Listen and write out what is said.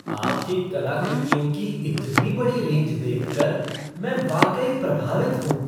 आपकी कलाकृतियों की इतनी बड़ी रेंज देखकर, मैं वाकई प्रभावित हूँ।